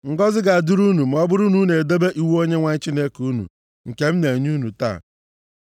Ngọzị ga-adịrị unu ma ọ bụrụ na unu edebe iwu Onyenwe anyị Chineke unu, nke m na-enye unu taa.